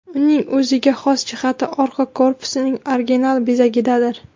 Uning o‘ziga xos jihati orqa korpusining original bezagidadir.